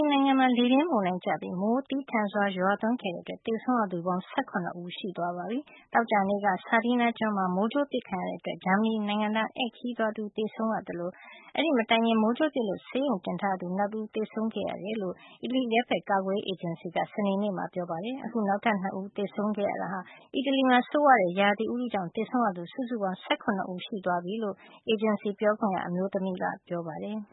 နိုင်ငံမှာ လေပြင်းမုန်တိုင်းကျပြီး မိုးသည်းထန်စွာ ရွာသွန်းခဲ့တဲ့အတွက် သေဆုံးရသူ စုစုပေါင်း ၁၇ ဦး ရှိသွားပါပြီ။ သောကြာနေ့က Sardinia ကျွန်းမှာ မိုးကြိုးပစ်ခဲ့တဲ့အတွက် ဂျာမဏီနိုင်ငံသား ဧည့်ခရီးသွား တဦး သေဆုံးခဲ့ရသလို အဲဒီမတိုင်ခင်ကလည်း မိုးကြိုးပစ်လို့ ဆေးရုံတင်ထားရသူ နောက်တဦး သေဆုံးခဲ့ရတယ်လို့ အီတလီ အရပ်ဖက် ကာကွယ်ရေး အေဂျင်စီက စနေနေ့က ပြောပါတယ်။ အခု နောက်ထပ် ၂ ဦးသေဆုံးခဲ့ရတဲ့အတွက် အီတလီမှာ ဆိုးဝါးတဲ့ ရာသီဥတုကြောင့် သေဆုံးရသူ စုစုပေါင်း ၁၇ ဦး ရှိသွားပြီလို့ အေဂျင်စီရဲ့ ပြောခွင့်ရ အမျိုးသမီးက ပြောပါတယ်။